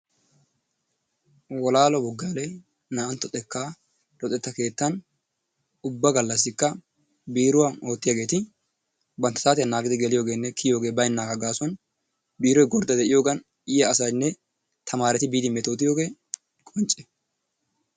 Wolaalo Buggaalee naa"antto xekkaa luxetta keettan ubba gallassikka biiruwan oottiyageeti bantta saatiya naagidi geliyogeenne kiyiyogee gaasuwan biiroy gordda de'iyogan yiya asaynne tamaareti biidi metootiyogee qoncce.